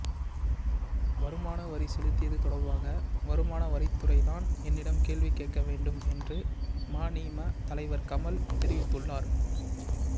வருமான வரி செலுத்தியது தொடர்பாக வருமான வரித்துறைதான் என்னிடம் கேள்வி கேட்க வேண்டும் என்று மநீம தலைவர் கமல் தெரிவித்துள்ளார்